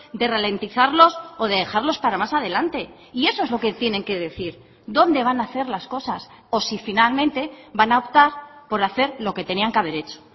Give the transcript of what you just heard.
de ralentizarlos o de dejarlos para más adelante y eso es lo que tienen que decir dónde van a hacer las cosas o si finalmente van a optar por hacer lo que tenían que haber hecho